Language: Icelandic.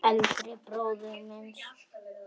Eldri bróður míns?